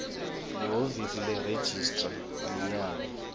lihhovisi leregistrar minyaka